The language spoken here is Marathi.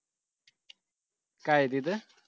काय आहे तिथं